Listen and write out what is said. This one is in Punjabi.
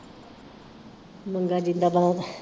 ਮੰਗਾ ਜਿੰਦਾਬਾਦ।